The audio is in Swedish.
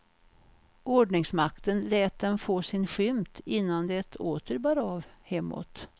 Ordningsmakten lät dem få sin skymt innan det åter bar av hemåt.